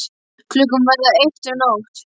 Klukkan að verða eitt um nótt!